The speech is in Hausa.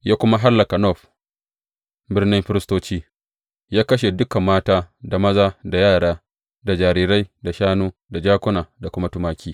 Ya kuma hallaka Nob birnin firistoci, ya kashe dukan mata, da maza, da yara, da jarirai, da shanu, da jakuna, da kuma tumaki.